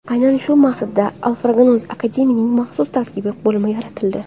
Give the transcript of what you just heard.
Aynan shu maqsadda Alfraganus Academy’ning maxsus tarkibiy bo‘limi yaratildi.